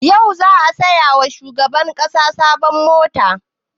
Yau za a saya wa shugaban ƙasa sabon mota?